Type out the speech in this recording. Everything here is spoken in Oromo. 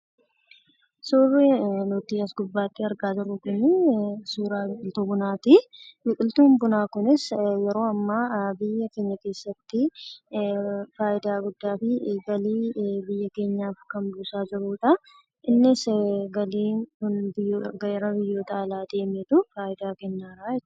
Suurri nuti asirratti argaa jirru kun suura biqiltuu bunaati. Biqiltuun bunaa Kunis biyya keenya keessatti faayidaa guddaa fi galii guddaa kan buusa jirudha. Innis gara biyyaa alaa ergamuudhaan fayyada.